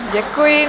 Děkuji.